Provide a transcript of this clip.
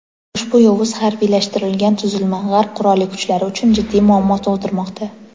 ushbu yovuz harbiylashtirilgan tuzilma G‘arb qurolli kuchlari uchun jiddiy muammo tug‘dirmoqda.